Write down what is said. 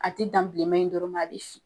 A te dan bileman in dɔrɔn ma, a be fin.